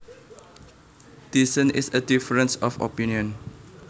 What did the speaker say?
Dissent is a difference of opinion